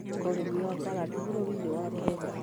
Ũrĩmi wa karati bũrũri-inĩ wa Kenya